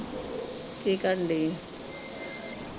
ਕੀ ਕਰਨ ਡੇਈ ਏ।